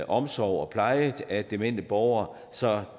omsorg og pleje af demente borgere så